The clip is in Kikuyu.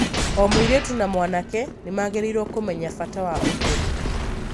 O mũirĩtu na mwanake nĩ magĩrĩirũo kũmenya bata wa ũtheru.